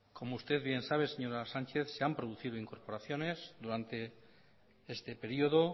como usted bien sabe señora sánchez se han producido incorporaciones durante este periodo